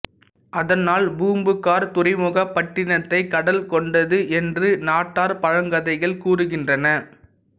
அதனால் பூம்புகார் துறைமுகப் பட்டினத்தைக் கடல் கொண்டது என்று நாட்டார் பழங்கதைகள் கூறுகின்றன